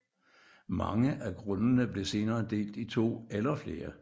Mange af grundene blev senere delt i 2 eller flere